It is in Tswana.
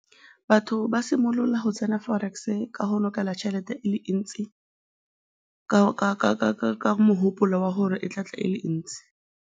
Batho ba simolola go tsena forex-e ka go lokela tšhelete e le ntsi ka mogopolo wa gore e tla tla e le ntsi.